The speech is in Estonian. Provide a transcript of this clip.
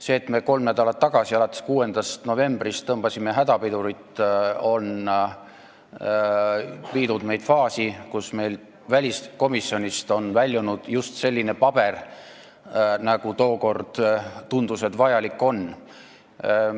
See, et me kolm nädalat tagasi, alates 6. novembrist hakkasime hädapidurit tõmbama, on viinud meid faasi, kus väliskomisjonist on väljunud just selline paber, nagu tookord tundus, et vajalik on.